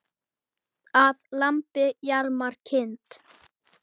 Að lambi jarmar kind.